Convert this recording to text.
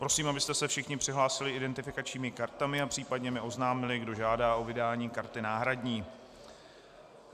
Prosím, abyste se všichni přihlásili identifikačními kartami a případně mi oznámili, kdo žádá o vydání karty náhradní.